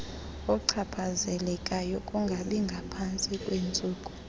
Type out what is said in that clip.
ochaphazelekayo kungabingaphantsi kweentsuku